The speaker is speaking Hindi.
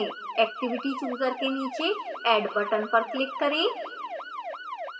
activity chooser के नीचे add button पर click करें